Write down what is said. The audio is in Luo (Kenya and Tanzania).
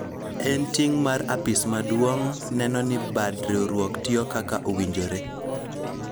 en ting' mar apis maduong' neno ni bad riwruok tiyo kaka owinjore